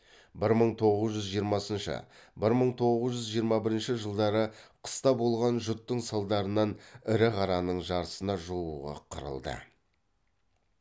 бір мың тоғыз жүз жиырмасыншы бір мың тоғыз жүз жиырма бірінші жылдары қыста болған жұттың салдарынан ірі қараның жартысына жуығы қырылды